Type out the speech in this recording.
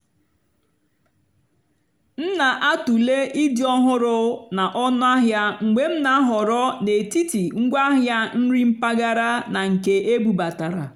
m nà-àtụ́lè ídì́ ọ́hụ́rụ́ nà ónúàhịá mgbe m nà-àhọ̀rọ́ n'étìtì ngwáàhịá nrì mpàgàrà nà nkè ébúbátárá.